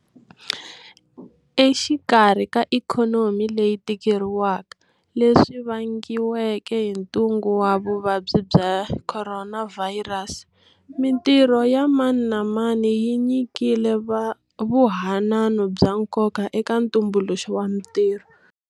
Exikarhi ka ikhonomi leyi tikeriwaka leswi vangiweke hi Ntungu wa Vuvabyi bya Khoronavhayirasi, mitirho ya mani na mani yi nyikile vuhanano bya nkoka eka ntumbuluxo wa mitirho.